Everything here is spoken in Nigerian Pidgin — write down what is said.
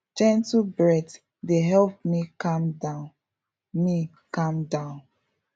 gentle breath dey help me calm down me calm down